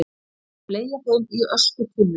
Þær fleygja þeim í öskutunnurnar.